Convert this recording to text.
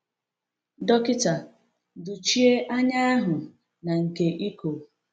Dọkịta dochie anya ahụ na nke iko.